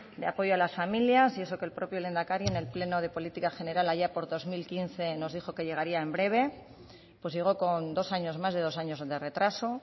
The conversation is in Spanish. de apoyo a las familias y eso que el propio lehendakari en el pleno de política general allá por dos mil quince nos dijo que llegaría en breve pues llegó con dos años más de dos años de retraso